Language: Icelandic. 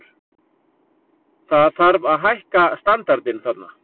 Það þarf að hækka standardinn þarna.